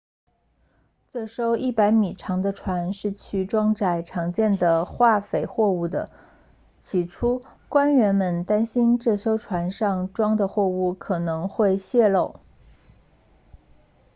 这艘100米长的船是去装载常见的化肥货物的起初官员们担心这艘船上装的货物可能会泄漏